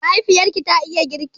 Mahaifiyarki ta iya girki?